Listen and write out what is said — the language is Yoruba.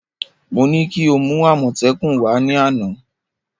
Mo ní kí o mú àmọ́tẹ́kùn wá ní àná